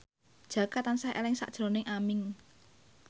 Jaka tansah eling sakjroning Aming